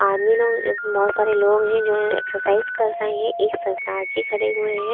आदमी लोग बोहोत सारे लोग हैं जो एक्सरसाइज कर रहे हैं एक सरदार जी खड़े हुए हैं।